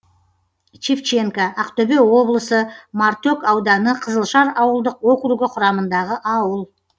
шевченко ақтөбе облысы мартөк ауданы қызылжар ауылдық округі құрамындағы ауыл